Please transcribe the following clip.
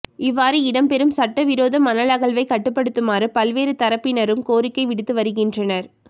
இவ்வாறு இடம்பெறும் சட்டவிரோத மணல் அகழ்வை கட்டுப்படுத்துமாறு பல்வேறு தரப்பினரும் கோரிக்கை விடுத்து வருகின்றனர்